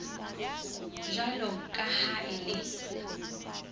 jwalo ka ha e le